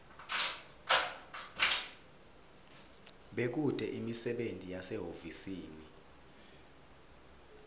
bekute imisebenti yasehhovisi